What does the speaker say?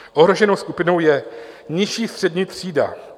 Ohroženou skupinou je nižší střední třída.